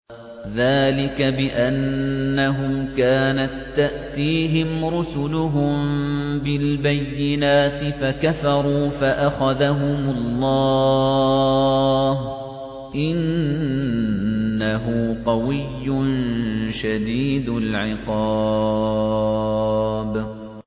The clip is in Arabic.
ذَٰلِكَ بِأَنَّهُمْ كَانَت تَّأْتِيهِمْ رُسُلُهُم بِالْبَيِّنَاتِ فَكَفَرُوا فَأَخَذَهُمُ اللَّهُ ۚ إِنَّهُ قَوِيٌّ شَدِيدُ الْعِقَابِ